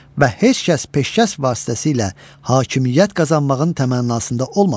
Və heç kəs peşkəş vasitəsilə hakimiyyət qazanmağın təmənnasında olmasın.